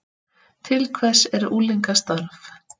Til hvers er unglingastarf